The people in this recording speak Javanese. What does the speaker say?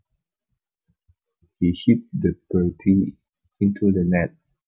He hit the birdie into the net